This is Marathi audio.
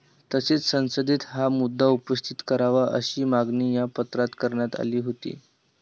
तसेच संसदेत हा मुद्दा उपस्थित करावा अशीही मागणी या पत्रात करण्यात आली होती.